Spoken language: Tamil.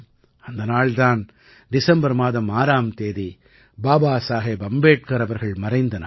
அந்த நாள் தான் டிசம்பர் மாதம் 6ஆம் தேதி பாபா சாஹேப் அம்பேட்கர் அவர்கள் மறைந்த நாள்